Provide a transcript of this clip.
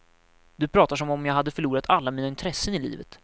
Du pratar som om jag hade förlorat alla mina intressen i livet.